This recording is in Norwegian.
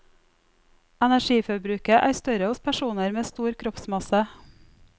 Energiforbruket er større hos personer med stor kroppsmasse.